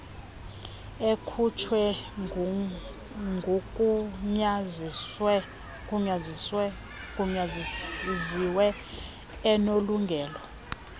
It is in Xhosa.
ekhutshwe ngugunyaziwe onelungelo